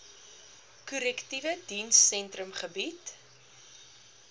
korrektiewe dienssentrum gebied